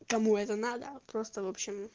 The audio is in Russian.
кому это надо просто в общем